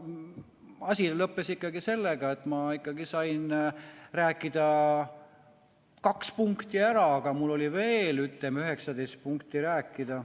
Asi lõppes ikkagi sellega, et ma sain rääkida kaks punkti ära, aga mul oli veel, ütleme, 19 punkti rääkida.